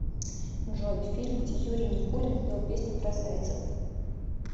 джой фильм где юрий никулин пел песню про зайцев